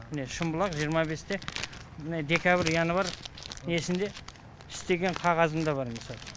міне шымбұлақ жиырма бесте мына декабрь январь несінде істеген қағазым да бар міне